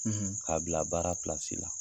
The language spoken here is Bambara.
K'a bila baara la.